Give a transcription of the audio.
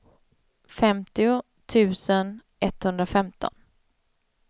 femtio tusen etthundrafemton